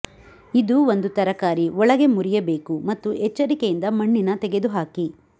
ಇದು ಒಂದು ತರಕಾರಿ ಒಳಗೆ ಮುರಿಯಬೇಕು ಮತ್ತು ಎಚ್ಚರಿಕೆಯಿಂದ ಮಣ್ಣಿನ ತೆಗೆದುಹಾಕಿ